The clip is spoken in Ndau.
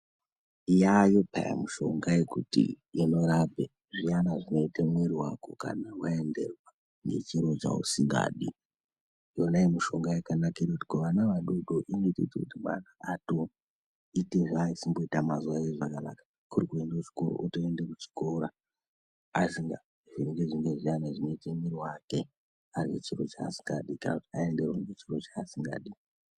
Yaayo peyani mushonga yekuti inorapa zviyana zvinoita mwiri wako kana waenderwa ngechiro chausingadi , Yona iyi mushonga yakanakire kuti kuvana vadodori inotoite kuti mwana atoite zvaosimboita mazuva ese zvakanaka kuri kuenda kuchikoro otoende kuchikora asingavhirongudzwi ngezviyana zvinoita mwiri wake aine chiro chaasingadi kana aenderwa ngechiro chaasingadi.